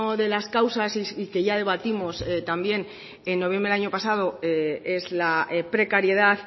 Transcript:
de las causas y que ya debatimos también en noviembre del año pasado es la precariedad